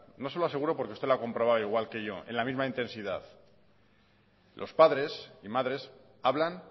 no se lo aseguro porque usted lo ha comprobado al igual que yo en la misma intensidad los padres y madres hablan